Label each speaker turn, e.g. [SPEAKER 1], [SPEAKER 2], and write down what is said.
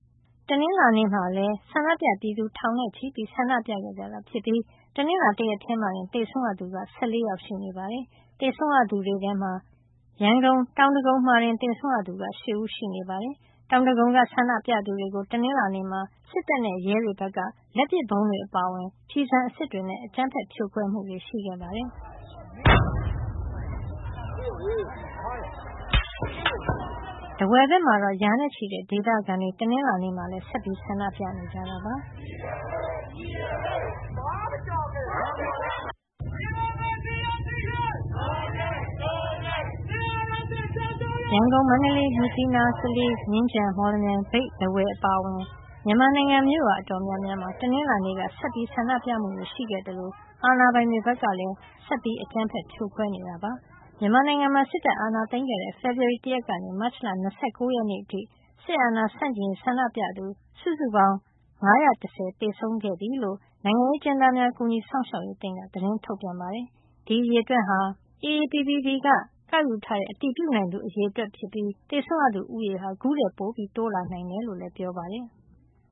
[SPEAKER 1] တနင်္လာနေ့မှာလည်း ဆန္ဒပြပြည်သူ ထောင်နဲ့ချီပြီး ဆန္ဒပြခဲ့ကြတာ ဖြစ်ပြီး တနင်္လာနေ့ တရက်ထဲ မှာတင် သေဆုံးရသူက ၁၄ ယောက် ရှိနေတာပါ။ သေဆုံးရသူတွေထဲမှာ ရန်ကုန် တောင်ဒဂုံမှာတင် သေဆုံးရသူက ၈ ဦးရှိနေပါတယ်။ တောင်ဒဂုံက ဆန္ဒပြသူတွေကို တနင်္လာနေ့မှာ စစ်တပ်နဲ့ ရဲတွေ ဘက်က လက်ပစ်ဗုံးတွေ အပါအဝင် ကျည်ဆံအစစ်တွေနဲ့ အကြမ်းဖက် ဖြိုခွဲမှုတွေ ရှိခဲ့ပါတယ်။ ထားဝယ်ဘက်မှာတော့ ရာနဲ့ချီတဲ့ ဒေသခံတွေ တနင်္လာနေ့မှာလည်း ဆက်လက် ဆန္ဒပြနေကြတာ ဖြစ်ပါတယ်။ “ဒ
[SPEAKER 2] ီမိုကရေစီ ရရှိရေး.. ဒို့အရေး..ဒို့အရေး စစ်အာဏာရှင
[SPEAKER 1] ် ကျဆုံးရေး.. ဒို့အရေး..ဒို့အရေး” ရန်ကုန်၊ မန္တလေး၊ မြစ်ကြီးနား၊ ကလေး၊ မြင်းခြံ၊ မော်လမြိုင်၊ မြိတ်၊ ထားဝယ် အပါအဝင် မြန်မာနိုင်ငံ မြို့ရွာ အတော်များများမှာ တနင်္လာနေ့ က ဆန္ဒပြမှုတွေ ရှိခဲ့သလို အာဏာပိုင်တွေ ဘက်ကလည်း ဆက်ပြီး အကြမ်းဖက် ဖြိုခွဲနေတာပါ။ မြန်မာနိုင်ငံမှာ စစ်တပ်အာဏာသိမ်းတဲ့ ဖေဖေါ်ဝါရီလ ၁ ရက်နေ့ကနေ မတ်လ ၂၉ ရက်နေ့အထိ စစ်အာဏာဆန့်ကျင်ရေး ဆန္ဒပြသူ စုစုပေါင်း ၅၁၀ သေဆုံးခဲ့ပြီ လို့ နိုင်ငံရေး အကျဉ်းသားများ ကူညီစောင့်ရှောက်ရေးအသင်းက သတင်းထုတ်ပြန်ပါတယ်။ ဒီအရေအတွက်ဟာ AAPP က ကောက်ယူထားတဲ့ အတည်ပြုနိုင်သူ အရေအတွက်ဖြစ်ပြီး သေဆုံးရသူဦးရေ အခုထက် ပိုများနိုင်တယ် လို့လည်း ပြော
[SPEAKER 2] ပါတယ်။